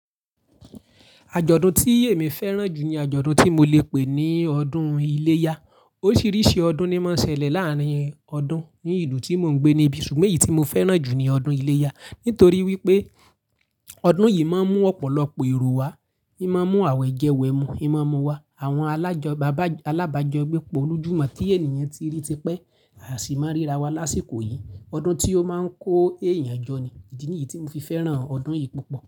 Àjọ̀dún tí èmi fẹ́ràn jù ní àjọ̀dún tí mo lè pè ní ọdún iléyá. Oríṣiríṣi ọdún ní máa ń ṣẹlẹ̀ láàárín ọdún ní ìlú tí mò ń gbé níbi, ṣùgbọ́n èyí tí mo fẹ́ràn jù ni ọdún iléyá. Nítorí wípé ọdún yìí máa ń mú ọ̀pọ̀lọpọ̀ èrò wá, ima n mú àwẹ̀ jẹwẹ̀ mú, imú mú wa àwọn alábàájọ́ gbé pọ̀ lójúmọ́ tí ènìyàn tí rí ti pẹ́, à sì máa ń ríra wá lásìkò yìí. Ọdún tí ó máa ń kó èèyàn jọ ni, ìdí nìyí tí mo fi fẹ́ràn ọdún yìí púpọ̀